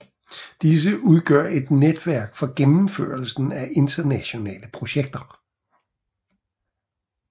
Disse udgør et netværk for gennemførelsen af internationale projekter